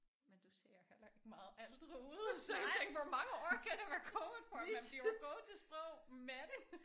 Men du ser heller ikke meget ældre ud så jeg tænker hvor mange år kan der være gået for man bliver jo god til sprog men